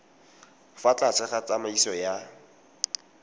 fa tlase ga tsamaiso ya